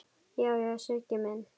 Já, já, Siggi minn.